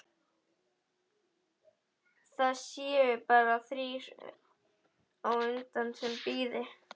Það séu bara þrír á undan sem bíði.